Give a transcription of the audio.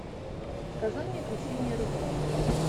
сказание о крещении руси